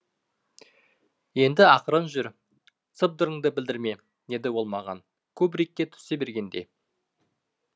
енді ақырын жүр сыбдырыңды білдірме деді ол маған кубрикке түсе бергенде